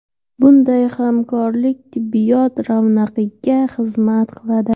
Bunday hamkorlik tibbiyot ravnaqiga xizmat qiladi.